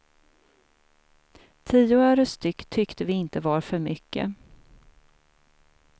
Tio öre styck tyckte vi inte var för mycket.